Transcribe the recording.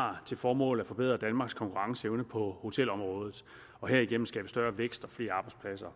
har til formål at forbedre danmarks konkurrenceevne på hotelområdet og herigennem skabe større vækst og flere arbejdspladser